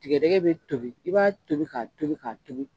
Tigɛdɛgɛ be tobi i b'a tobi ka tobi ka tobi